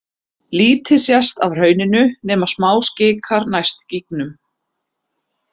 Lítið sést af hrauninu nema smáskikar næst gígunum.